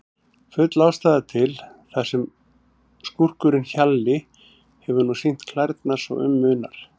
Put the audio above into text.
Full ástæða til, þar sem skúrkurinn Hjalli hefur nú sýnt klærnar svo um munar.